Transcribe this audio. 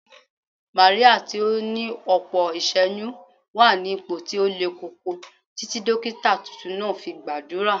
Màríà tí ó ní ọ̀pọ̀ iṣẹ́yún wà ní ipò tí ó le koko títí dókítà tuntun náà fi gbàdúrà